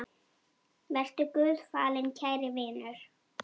Vertu Guði falinn, kæri vinur.